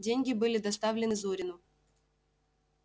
деньги были доставлены зурину